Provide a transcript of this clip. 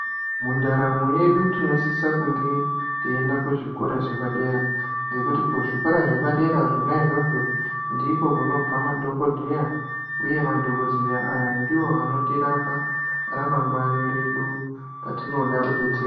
Mundaramo yedu tinosisa kunge teienda kuzvikora zvepadera kuzvikorangekuti zvepadera zvona izvozvo ndiko kunobva madhokodheya uye madhokodheya aya ndiwo anotirapa ramangwani redu patinoda kudetserwa.